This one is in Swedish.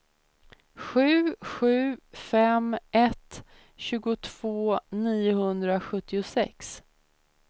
sju sju fem ett tjugotvå niohundrasjuttiosex